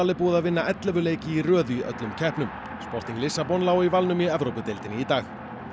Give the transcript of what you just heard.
er búið að vinna ellefu leiki í röð í öllum keppnum sporting Lissabon lá í valnum í í dag